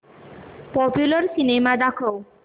popular cinema दाखव